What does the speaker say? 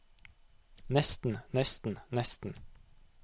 nesten nesten nesten